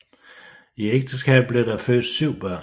I ægteskabet blev der født syv børn